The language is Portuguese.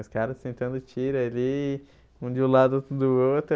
Os caras sentando tiro ali, um de um lado, outro do outro.